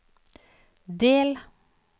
del